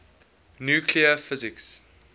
nuclear physics